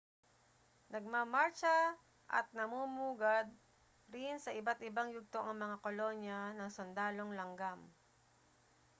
nagmamartsa at namumugad rin sa iba't-ibang yugto ang mga kolonya ng sundalong langgam